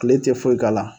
Kile tɛ foyi k'a la